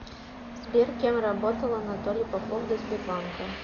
сбер кем работал анатолий попов до сбербанка